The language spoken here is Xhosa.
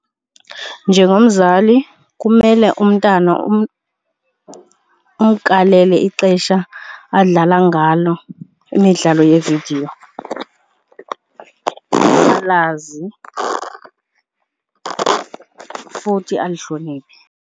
Njengomzali kumele umntana umkalele ixesha adlala ngalo imidlalo yeevidiyo, alazi futhi alihlonele.